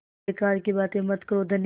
बेकार की बात मत करो धनी